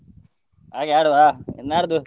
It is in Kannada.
ಹಾಗೆ ಆಡುವಾ ನಾಡ್ದು?